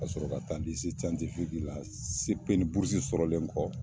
N ka sɔrɔ ka taa la sɔrɔlen kɔ